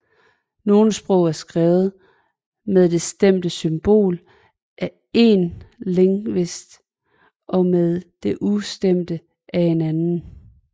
Nogle sprog er skrevet med det stemte symbol af én lingvist og med det ustemte af en anden